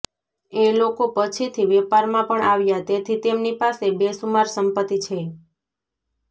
એ લોકો પછીથી વેપારમાં પણ આવ્યા તેથી તેમની પાસે બેસુમાર સંપત્તિ છે